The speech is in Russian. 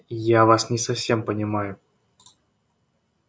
я вас не совсем понимаю